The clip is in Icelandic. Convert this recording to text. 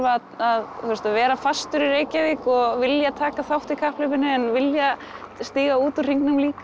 að vera fastur í Reykjavík og vilja taka þátt í kapphlaupinu en vilja stíga út úr hringnum líka